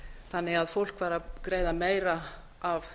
þannig að fólk var að greiða meira af